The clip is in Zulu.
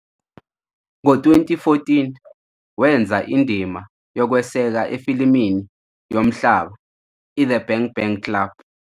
Ngo-2014, wenza indima yokweseka efilimini yomhlaba "iThe Bang Bang Club".